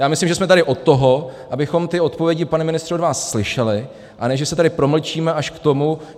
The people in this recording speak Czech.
Já myslím, že jsme tady od toho, abychom ty odpovědi, pane ministře, od vás slyšeli, a ne že se tady promlčíme až k tomu...